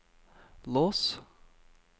lås